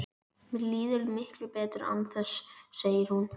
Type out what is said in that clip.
Mér líður miklu betur án þess, segir hún.